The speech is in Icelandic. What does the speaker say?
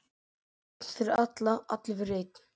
Einn fyrir alla, allir fyrir einn.